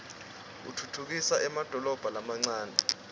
utfutfukisa emadolobha lamancane